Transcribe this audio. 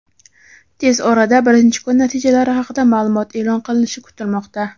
Tez orada birinchi kun natijalari haqida ma’lumot e’lon qilinishi kutilmoqda.